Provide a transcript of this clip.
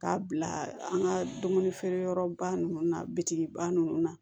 K'a bila an ka dumuni feere yɔrɔba ninnu na biba ninnu na